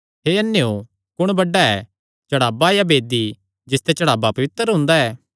हे अन्नेयो कुण बड्डा ऐ चढ़ावा या वेदी जिसते चढ़ावा पवित्र हुंदा ऐ